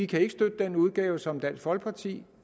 kan støtte den udgave som dansk folkeparti